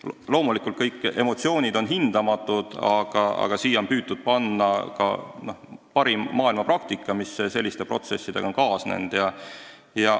Loomulikult, kõik emotsioonid on hindamatud, aga siin on püütud arvestada ka parimat maailmapraktikat, mis selliste protsesside elluviimisel on olnud.